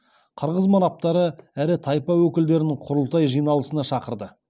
қырғыз манаптары ірі тайпа өкілдерін құрылтай жиналысына шақырды